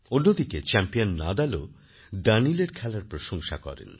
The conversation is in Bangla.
অন্যদিকে চ্যাম্পিয়ান নাদালও দানিলএর খেলার প্রশংসা করেন